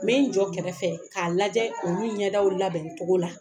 Me n jɔ kɛrɛfɛ k'a lajɛ ulu ɲɛdaw labɛncogo la.